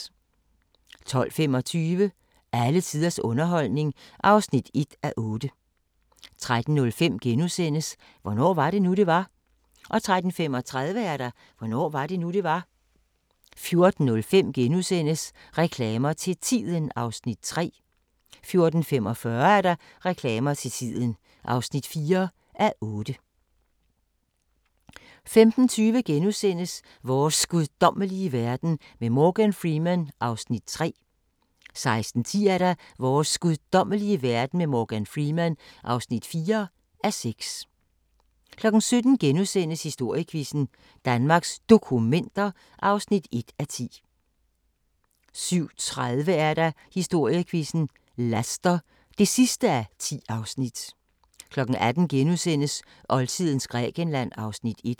12:25: Alle tiders underholdning (1:8) 13:05: Hvornår var det nu, det var? * 13:35: Hvornår var det nu, det var? 14:05: Reklamer til Tiden (3:8)* 14:45: Reklamer til tiden (4:8) 15:20: Vores guddommelige verden med Morgan Freeman (3:6)* 16:10: Vores guddommelige verden med Morgan Freeman (4:6) 17:00: Historiequizzen: Danmarks Dokumenter (1:10)* 17:30: Historiequizzen: Laster (10:10) 18:00: Oldtidens Grækenland (Afs. 1)*